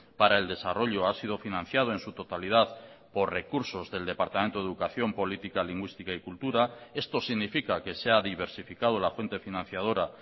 para el desarrollo ha sido financiado en su totalidad por recursos del departamento de educación política lingüística y cultura esto significa que se ha diversificado la fuente financiadora